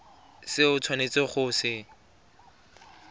se o tshwanetseng go se